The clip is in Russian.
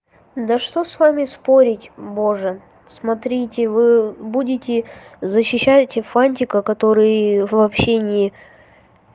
да что с вами спорить боже смотрите вы будете защищать и фантика который вообще ни